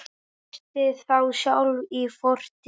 Festist þá sjálf í fortíð.